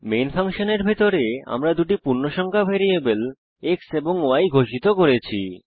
main ফাংশনের ভিতরে আমরা দুটি পূর্ণসংখ্যা ভ্যারিয়েবল x এবং y ঘোষিত করেছি